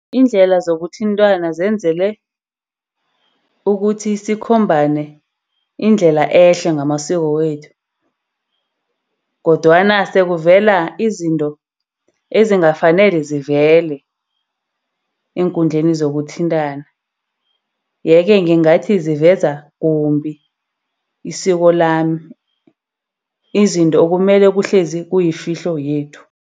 Iindlela zokuthintana zenzelwe ukuthi sikhombane indlela ehle ngamasiko wethu, kodwana sekuvela izinto ezingafanele zivele eenkundleni zokuthintana. Yeke ngingathi ziveza kumbi isikolo lami. Izinto kumele kuhlezi kuyifihlo yethu.